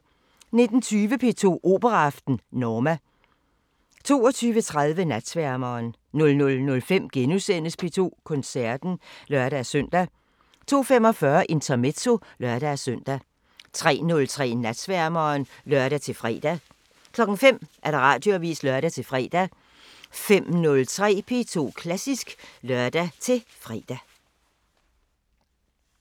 19:20: P2 Operaaften: Norma 22:30: Natsværmeren 00:05: P2 Koncerten *(lør-søn) 02:45: Intermezzo (lør-søn) 03:03: Natsværmeren (lør-fre) 05:00: Radioavisen (lør-fre) 05:03: P2 Klassisk (lør-fre)